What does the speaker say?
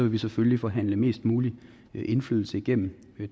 vi selvfølgelig forhandle mest mulig indflydelse igennem